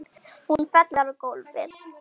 Hún fellur á gólfið.